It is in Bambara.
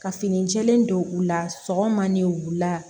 Ka fini jɛlen don u la sɔgɔma ni wula